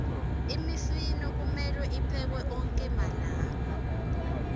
imifino kumelwe tiphekwe onkhe malanga